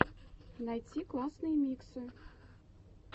найти классные миксы